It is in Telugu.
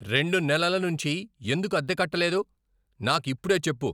రెండు నెలల నుంచీ ఎందుకు అద్దె కట్టలేదు? నాకిప్పుడే చెప్పు.